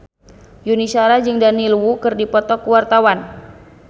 Yuni Shara jeung Daniel Wu keur dipoto ku wartawan